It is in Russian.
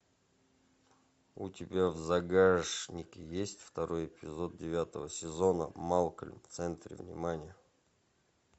у тебя в загашнике есть второй эпизод девятого сезона малкольм в центре внимания